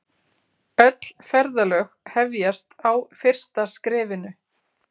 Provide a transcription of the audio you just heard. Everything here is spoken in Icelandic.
Öll ferðalög hefjast á fyrsta skrefinu.